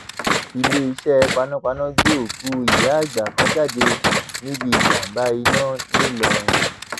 iléeṣẹ panápaná gbé òkú ìyáàgbà kan jáde níbi ìjàmbá iná ńìlọrin